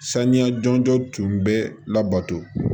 Saniya jɔnjɔn tun bɛ labato